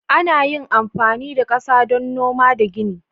Ana yin amfani da kasa domin noma da gini.